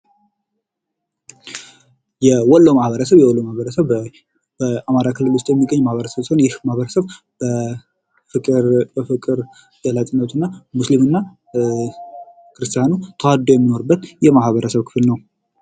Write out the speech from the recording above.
የወሎ ማህበረሰብ:- የወሎ ማህበረሰብ በአማራ ክልል ዉስጥ የሚገኝ ማህበረሰብ ሲሆን ይህ ማህበረሰብ በፍቅር ገላጭነቱ ሙስሊም ክርሰሰቲያኑ ተዋደዉ የሚኖሩበት የማህበረሰብ ክፍል ነዉ።